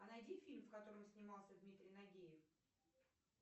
а найди фильм в котором снимался дмитрий нагиев